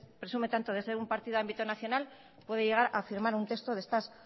presume tanto de ser un partido de ámbito nacional puede llegar a firmar un texto de estas